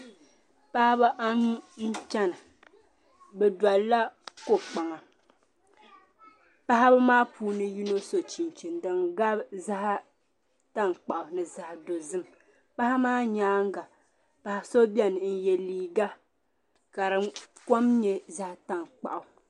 Paɣba anu n chana bɛ doliya kokpaŋa paɣi bɛ maa puuni yino so chinchini din gabi zaɣi tankpaɣu ni zaɣi dozim paɣa ma nyanga paɣa so bɛni n yɛ liiga ka di kom nye zaɣi tankpaɣu.